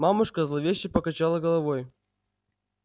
мамушка зловеще покачала головой